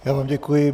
Já vám děkuji.